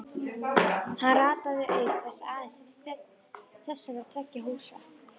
Hann rataði auk þess aðeins til þessara tveggja húsa.